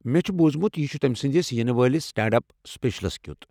مےٚ چھُ بوُزمُت یہِ چھُ تمہِ سنٛدِس ینہٕ وٲلس سٹینٛڈ اپ سپیٚشلس کیُوتھ ۔